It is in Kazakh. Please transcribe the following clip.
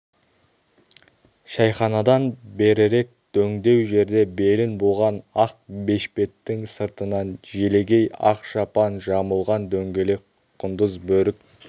шәйханадан берірек дөңдеу жерде белін буған ақ бешбеттің сыртынан желегей ақ шапан жамылған дөңгелек құндыз бөрік